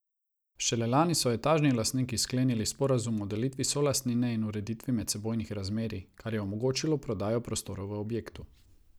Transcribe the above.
Šele lani so etažni lastniki sklenili sporazum o delitvi solastnine in ureditvi medsebojnih razmerij, kar je omogočilo prodajo prostorov v objektu.